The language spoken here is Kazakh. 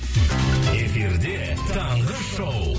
эфирде таңғы шоу